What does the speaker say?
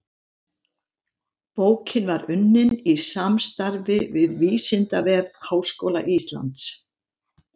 Bókin var unnin í samstarfi við Vísindavef Háskóla Íslands.